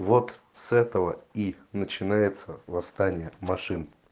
вот с этого и начинается восстание машин